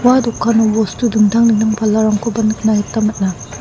ua dokano bostu dingtang dingtang palarangkoba nikna gita man·a.